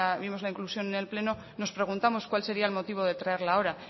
vimos la inclusión en el pleno nos preguntamos cuál sería el motivo de traerla ahora